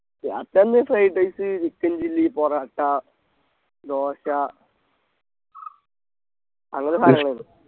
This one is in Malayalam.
രാത്രി എന്ന Fried rice chicken chilli parotta dosa അങ്ങനത്തെ സാധനങ്ങള്